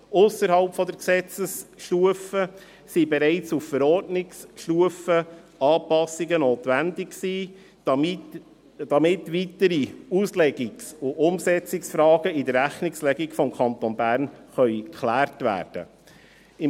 Ausserhalb der Gesetzesstufe waren bereits auf Verordnungsstufe Anpassungen notwendig, damit weitere Auslegungs- und Umsetzungsfragen in der Rechnungslegung des Kantons Bern geklärt werden können.